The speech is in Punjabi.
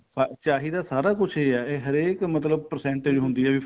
ਚਾਹੀਦਾ ਸਾਰਾ ਕੁੱਝ ਏ ਇਹ ਹਰੇਕ ਮਤਲਬ percentage ਹੁੰਦੀ ਏ